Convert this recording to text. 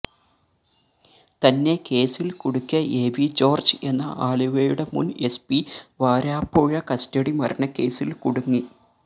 തന്നെ കേസിൽ കുടുക്കിയ എവി ജോർജ് എന്ന ആലുവയുടെ മുൻ എസ് പി വരാപ്പുഴ കസ്റ്റഡി മരണക്കേസിൽ കുടുങ്ങി